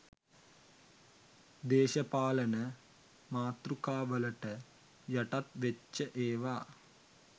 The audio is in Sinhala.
දේශපාලන මාතෘකාවලට යටත් වෙච්ච ඒවා